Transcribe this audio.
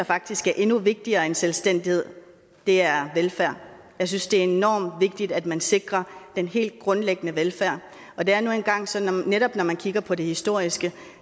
faktisk er endnu vigtigere end selvstændighed er velfærd jeg synes det er enormt vigtigt at man sikrer den helt grundlæggende velfærd og det er nu engang sådan netop når man kigger på det historiske